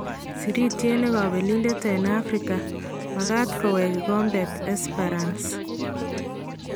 sirityeet nekabelindet en Afrika :Magaat koweek kikombet Esperance